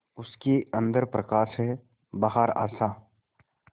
उसके अंदर प्रकाश है बाहर आशा